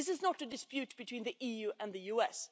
This is not a dispute between the EU and the US.